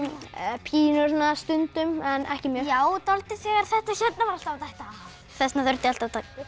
pínu svona stundum en ekki mjög já dáldið þegar þetta var alltaf að detta af þess vegna þurfti ég alltaf